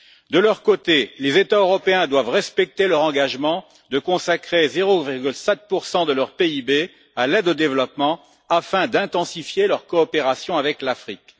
De leur côté, les États européens doivent respecter leur engagement de consacrer 0,7 de leur PIB à l'aide au développement, afin d'intensifier leur coopération avec l'Afrique.